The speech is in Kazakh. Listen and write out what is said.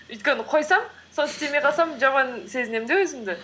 өйткені қойсам соны істемей қалсам жаман сезінем де өзімді